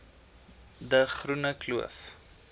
de groene kloof